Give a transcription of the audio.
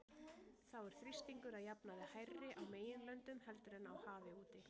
þá er þrýstingur að jafnaði hærri á meginlöndum heldur en á hafi úti